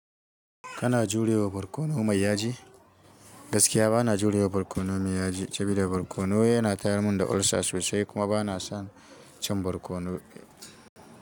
Kana jurewa barkono mai yaji? Gaskiya bana jurewa barkono mai yaji, sabida barkono yana tayar mun da ulcer sosai kuma bana son cin barkono.